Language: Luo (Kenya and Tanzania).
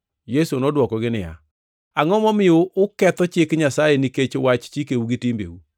Yesu nodwokogi niya, “Angʼo momiyo uketho chik Nyasaye nikech wach chikeu gi timbeu?